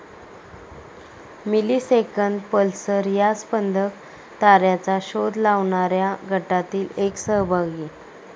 Millisecond pulsar या स्पंदक ताऱ्याचा शोध लावणाऱ्या गटातील एक सहभागी.